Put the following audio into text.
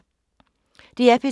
DR P3